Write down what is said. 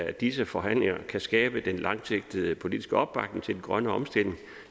at disse forhandlinger kan skabe den langsigtede politiske opbakning til den grønne omstilling